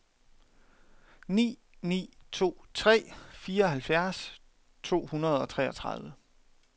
ni ni to tre fireoghalvfjerds to hundrede og enogtredive